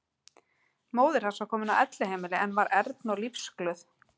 Móðir hans var komin á elliheimili en var ern og lífsglöð.